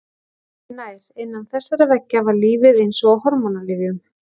Öðru nær: innan þessara veggja var lífið eins og á hormónalyfjum.